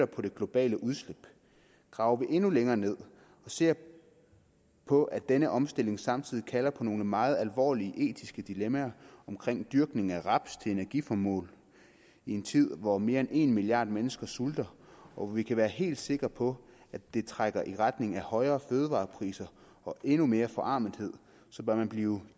på det globale udslip graver vi endnu længere ned og ser på at denne omstilling samtidig kalder på nogle meget alvorlige etiske dilemmaer omkring dyrkning af raps til energiformål i en tid hvor mere end en milliard mennesker sulter og hvor vi kan være helt sikre på at det trækker i retning af højere fødevarepriser og endnu mere forarmelse bør man blive